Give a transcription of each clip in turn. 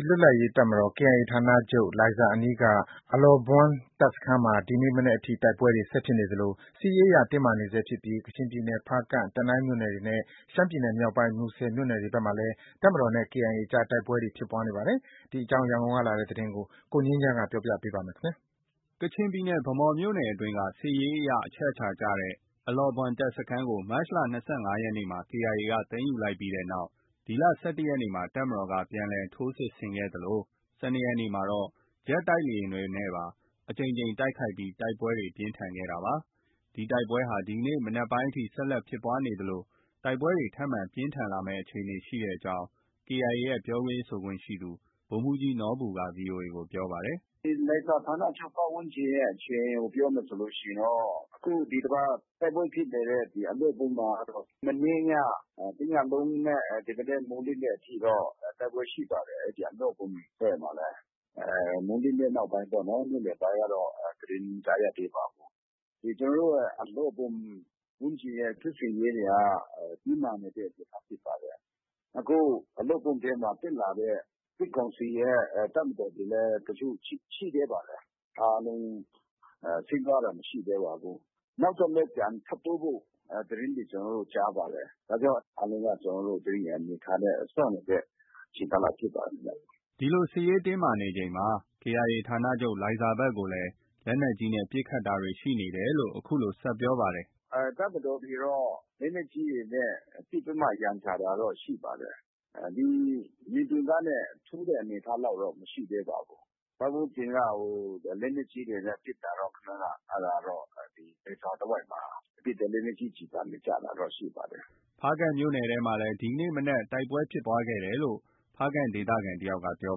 င်လွတ်လပ်ရေးတပ်မတော် ဌာနချုပ် လိုင်ဇာအနီးက အလောဘွမ်တပ်စခန်းမှာ ဒီနေ့မနက်ထိ တိုက်ပွဲတွေ ဆက်ဖြစ်နေသလို စစ်ရေးအရတင်းမာနေဆဲဖြစ်ပြီး ကချင်ပြည်နယ် ဖားကန့်၊ တနိုင်းမြို့နယ်တွေနဲ့ ရှမ်းပြည်မြောက်ပိုင်း မူဆယ်မြို့နယ်ဘက်တွေမှာလည်း တပ်မတော်နဲ့ KIA အကြား တိုက်ပွဲတွေ ဖြစ်ပွားနေပါတယ်။ ဒီအကြောင်း ရန်ကုန်ကလာတဲ့သတင်းကို ကိုငြိမ်းချမ်းက ပြောပြပါမယ်။ ကချင်ပြည်နယ်၊ ဗန်းမော်မြို့နယ်အတွင်းက စစ်ရေးအရ အချက်အခြာကျတဲ့ အလောဘွမ် တပ်စခန်းကို မတ်လ ၂၅ရက်နေ့မှာ KIA က သိမ်းယူလိုက်ပြီးတဲ့နောက် ဒီလ ၁၁ ရက်နေ့မှာ တပ်မတော်က ပြန်လှန်ထိုးစစ်ဆင်ခဲ့သလို ၁၂ ရက်နေ့မှာတော့ ဂျက်တိုက်လေယာဉ်တွေနဲ့ပါ အကြိမ်ကြိမ်တိုက်ခိုက်ပြီး တိုက်ပွဲတွေ ပြင်းထန်ခဲ့တာပါ။ ဒီတိုက်ပွဲဟာ ဒီကနေ့ မနက်ပိုင်းအထိ ဆက်လက်ဖြစ်ပွားနေသလို တိုက်ပွဲတွေ ထပ်မံ ပြင်းထန်လာမယ့် အခြေအနေ ရှိနေကြောင်း KIA ရဲ့ ပြောရေးဆိုခွင့်ရှိသူ ဗိုလ်မှုးကြီးနော်ဘူက VOA ကို ပြောပါတယ်။ “လိုင်ဇာဌာနချုပ် ပတ်ဝန်းကျင်ရဲ့ အခြေအနေကို ပြောမယ်ဆိုရင်တော့ အခု ဒီတပတ်တိုက်ပွဲဖြစ်နေတဲ့ အလောဘွမ်မှာတော့ မနေ့ည တစ်ညလုံးနဲ့ ဒီမနက် မိုးလင်းတဲ့အထိတော့ တိုက်ပွဲရှိပါတယ်။ အဲဒီအလောဘွမ်ဘက်မှာလည်း။ မိုးလင်းတဲ့နောက်ပိုင်းပေါ့။ နေ့လည်ပိုင်းကတော့ သတင်း မကြားရသေးပါဘူး။ ကျနော်တို့ အလောဘွမ် ဝန်းကျင်ရဲ့ စစ်ဆင်ရေးတွေက တင်းမာနေတဲ့အနေအထားဖြစ်ပါတယ်။ အခု အလောဘွမ်ထဲမှာ တက်လာတဲ့ စစ်ကောင်စီရဲ့ တပ်မတော်တွေလည်း တချို့ ရှိသေးပါတယ်။ အားလုံး ဆင်းသွားတာ မရှိသေးပါဘူး။ နောက်ထပ်လည်း ပြန်တိုးဖို့ သတင်းတွေ ကျနော်တို့ ကြားပါတယ်။ ဒါကြောင့် အားလုံးက ကျနော်တို့ သတိအနေအထားနဲ့ စောင့်နေတဲ့ ကာလဖြစ်ပါတယ်။” ဒီလို စစ်ရေးတင်းမာမှုတွေရှိနေချိန် KIA ဌာနချုပ် လိုင်ဇာဘက်ကိုလည်း လက်နက်ကြီးနဲ့ ပစ်ခတ်တာတွေ ရှိနေတယ်လို့လည်း အခုလို ဆက်ပြောပါတယ်။ “တပ်မတော်တွေတော့ လက်နက်ကြီးတွေ ပစ်ပြီးတော့ ရန်ရှာတာတော့ ရှိပါတယ်။ ဒီ မြေပြင်ကနေ ထိုးတဲ့အနေအထားလောက်တော့ မရှိသေးပါဘူး။ ပတ်ဝန်းကျင်က လက်နက်ကြီးတွေနဲ့ ပစ်တာတော့ ဒီလိုင်ဇာတဝိုက်မှာ ပစ်တဲ့လက်နက်ကြီး ကျည်ဆံ ကျတာတော့ ရှိပါတယ်။ ” ဒီလိုစစ်ရေးတင်းမာမှုတွေမြင့်တက်နေချိန်မှာပဲ ဖားကန့်မြို့နယ်မှာလည်း ဒီနေ့ မနက်က တိုက်ပွဲဖြစ်တယ်လို့ ဖားကန့်ဒေသခံ တစ်ယောက်က ပြော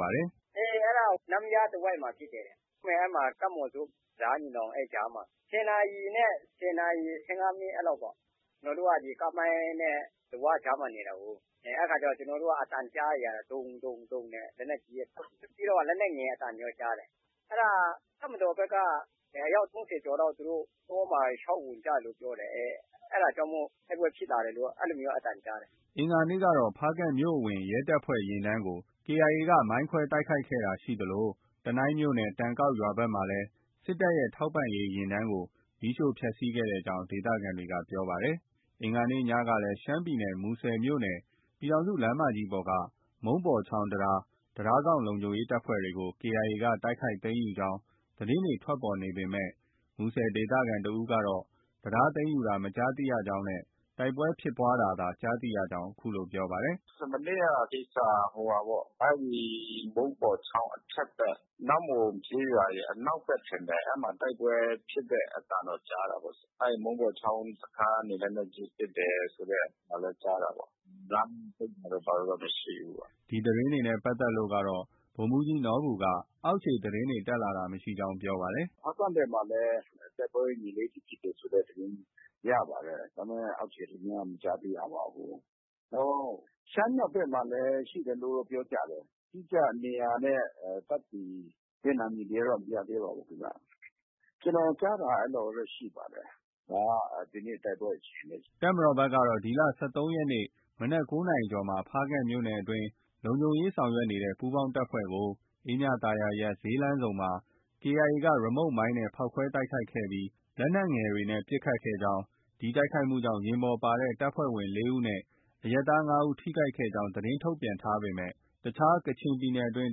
ပါတယ်။ “ အေး အဲဒါ နမ့်ယားနားမှာ ဖြစ်တယ်တဲ့။ ကပ်မှော်ဇွပ် နဲ့ တံတားညီနောင် အဲဒီအကြားမှာ၊ ၁၀ နာရီနဲ့ ၁၀ နာရီ ၁၅ မိနစ် အဲလောက်ပေါ့။ ကျနော်တို့က ကားမိုင်းနဲ့ လဝါး ကြားမှာ နေတာကိုး ၊ ကျနော်တို့ အသံကြားနေရတာပေါ့။ ဒုံး၊ ဒုံး ၊ ဒုံးနဲ့ လက်နက်ကြီးသံတွေရော ပြီးတော့ လက်နက်ငယ်သံတွေရေ ကြားတယ်။ အဲဒါ တပ်မတော်ဘက် အယောက် ၃၀ ကျော်လောက် သူတို့ တောမှာ ရှောက်ဝင်ကြတယ်လို့ ပြောတယ်။ အဲဒါကြောင့်မို့ တိုက်ပွဲဖြစ်လာတယ်လို့ အဲလိုမျိုးတော့ အသံကြားတယ်။” အင်္ဂါနေ့ကတော့ ဖားကန့်မြို့အဝင် ရဲတပ်ဖွဲ့ယာဉ်တန်းကို KIA က မိုင်းခွဲတိုက်ခိုက်တာရှိသလို တနိုင်းမြို့နယ် တိန်ကောက်ရွာဘက်မှာလည်း စစ်တပ်ရဲ့ ထောက်ပံ့ရေးယာဉ်တန်းကို မီးရှို့ဖျက်ဆီးခဲ့ကြောင်း ဒေသခံတွေက ပြောပါတယ်။ အင်္ဂါနေ့ညကလည်း ရှမ်းပြည်နယ် မူဆယ်မြို့နယ် ပြည်ထောင်စုလမ်းမကြီးပေါ်က မုံးပေါ်ချောင်း တံတားစောင့်လုံခြုံရေးတပ်ဖွဲ့တွေကို KIA က တိုက်ခိုက်သိမ်းယူကြောင်း သတင်းတွေ ထွက်ပေါ်နေပေမဲ့ မူဆယ်ဒေသခံတစ်ဦးကတော့ တံတားသိမ်းယူတာ မကြားသိကြောင်းနဲ့ တိုက်ပွဲဖြစ်ပွားတာသာ ကြားသိရကြောင်း ပြောပါတယ်။ “အဲဒါတော့ မကြားဘူးခင်ဗျ။ မနေ့က ကိစ္စက အဲဒီ မုန်းပေါ်ချောင်း အထက်ဘက် နမ့်မွန်ကျေးရွာရဲ့ အနောက်ဘက် ထင်တယ်။ အဲဒီမှာ တိုက်ပွဲဖြစ်တဲ့အသံတော့ ကြားတာပေါ့။ အဲဒီ မုန်းပေါ်ချောင်းတံတားကနေ လက်နက်ကြီး ပစ်တယ်ဆိုတဲ့ အသံလည်း ကြားတာပေါ့။ လမ်းပိတ်တာတို့ ဘာတို့တော့ မရှိဘူးပေါ့။ ” ဒီသတင်းတွေနဲ့ပတ်သက်လို့တော့ ဗိုလ်မှုးကြီးနော်ဘူက အောက်ခြေသတင်းတက်လာတာမရှိကြောင်း ပြောပါတယ်။ “ဖားကန့်ဘက်မှာလည်း တိုက်ပွဲ ဒီနေ့ဖြစ်တယ်ဆိုတဲ့သတင်းရပါတယ်။ ဒါပေမဲ့ အောက်ခြေသတင်းက မကြားသိရပါဘူး။ နောက် ရှမ်းမြောက်ဘက်မှာလည်း ရှိတယ်လို့တော့ ပြောကြတယ်။ အတိအကျ နေရာနဲ့ တပ်တည်တဲ့ နံမည်တွေ ကတော့ မရသေးပါဘူး။ ကျနော်ကြားတာ အဲလောက်ပဲ ရှိပါတယ်။ ဒါက ဒီနေ့ တိုက်ပွဲအခြေအနေ။” တပ်မတော်ဘက်ကတော့ ဒီလ ၁၃ ရက်နေ့ မနက် ၉ နာရီကျော်မှာ ဖားကန့်မြို့နယ်အတွင်း လုံခြုံရေးဆောင်ရွက်နေတဲ့ ပူးပေါင်းတပ်ဖွဲ့ကို အေးမြသာယာရပ် ဈေးလမ်းဆုံမှာ KIA က ရီမုတ်မိုင်းနဲ့ ဖောက်ခွဲတိုက်ခိုက်ပြီး လက်နက်ငယ်တွေနဲ့ ပစ်ခတ်ခဲ့ကြောင်း၊ ဒီတိုက်ခိုက်မှုကြောင့် ယာဉ်ပေါ်ပါတဲ့ တပ်ဖွဲ့ဝင် ၄ ဦးနဲ့ အရပ်သား ၅ဦး ထိခိုက်ခဲ့ကြောင်း သတင်းထုတ်ပြန်ထားပေမယ့် တခြား ကချင်ပြည်နယ်တွင်း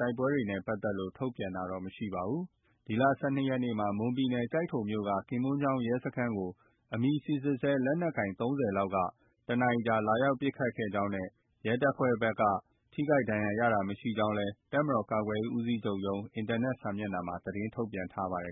တိုက်ပွဲတွေနဲ့ပတ်သက်လို့ ထုတ်ပြန်တာ မရှိပါဘူး။ ဒီလ ၁၂ ရက်နေ့မှာ မွန်ပြည်နယ် ကျိုက်ထိုမြို့နယ်က ကင်မွန်းချောင်းရဲစခန်းကို အမည်စိစစ်ဆဲ လက်နက်ကိုင် ၃၀ လောက်က တစ်နာရီခန့်ကြာ လာရောက်ပစ်ခတ်ကြောင်းနဲ့ ရဲတပ်ဖွဲ့ဘက်က ထိခိုက်ဒဏ်ရာရတာမရှိကြောင်းလည်း တပ်မတော်ကာကွယ်ရေးဦးစီးချုပ်ရုံး၊ အင်တာနက် စာမျက်နှာမှာ သတင်းထုတ်ပြန်ထားပါတယ်